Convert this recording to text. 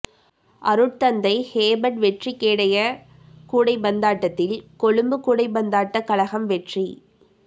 அருட்தந்தை ஹேபர்ட் வெற்றிக்கேடய கூடைப்பந்தாட்டத்தில் கொழும்பு கூடைப்பந்தாட்டக் கழகம் வெற்றி